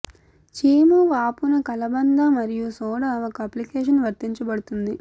చీము వాపు న కలబంద మరియు సోడా ఒక అప్లికేషన్ వర్తించబడుతుంది